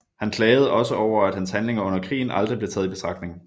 Han klagede også over at hans handlinger under krigen aldrig blev taget i betragtning